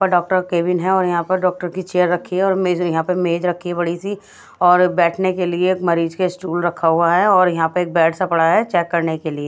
पर doctor cabin है और यहाँ पर डॉक्टर की चेयर रखी है और मेज़ यहाँ पर मेज़ रखी है बड़ी सी और बैठने के लिए एक मरीज के स्टूल रखा हुआ है और यहाँ पे बेड सा पड़ा है चेक करने के लिए।